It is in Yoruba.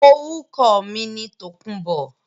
Orúkọ mi ni Tòkunbọ̀